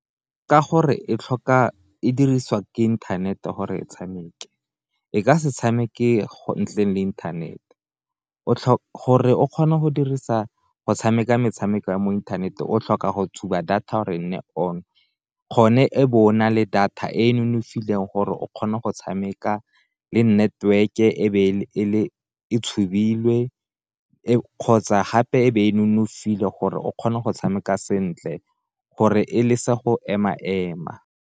Ka gore e tlhoka e dirisiwa ka inthanete gore tshameke e ka se tshameke go ntleng le inthanete gore o kgona go dirisa go tshameka metshameko ya mo inthaneteng o tlhoka go tshuba data gore e nne on, kgone e be ona le data e e nonofileng gore o kgona go tshameka le network-e e tshubilwe kgotsa gape e be e nonofile gore o kgona go tshameka sentle, gore e le se go ema-ema.